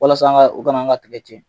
Walasa an ka u kan'an ka tigɛ tiɲɛ.